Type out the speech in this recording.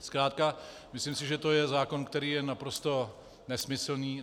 Zkrátka si myslím, že to je zákon, který je naprosto nesmyslný.